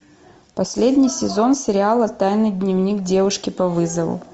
последний сезон сериала тайный дневник девушки по вызову